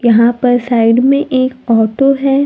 यहां पर साइड में एक ऑटो है।